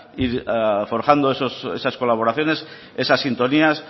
forjando esas colaboraciones esas sintonías